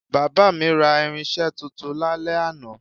Bàbá mi ra irinsé tuntun lálẹ́ àná